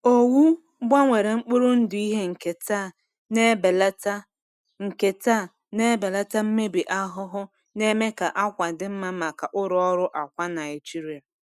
Owu gbanwere mkpụrụ ndụ ihe nketa na-ebelata nketa na-ebelata mmebi ahụhụ, na-eme ka àkwà dị mma maka ụlọ ọrụ akwa Naijiria.